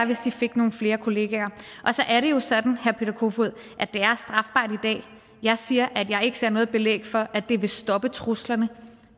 hvis de fik nogle flere kolleger så er det jo sådan herre peter kofod og jeg siger at jeg ikke ser noget belæg for at det vil stoppe truslerne